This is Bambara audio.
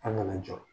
An kana jɔ